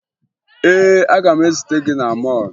Ee, aga m ezute gị na mọọlụ